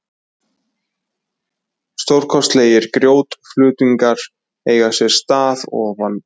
Stórkostlegir grjótflutningar eiga sér stað ofan úr